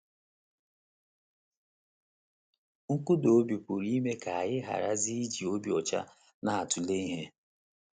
Nkụda mmụọ pụrụ ime ka anyị gharazie iji obi ọcha na - atụle ihe.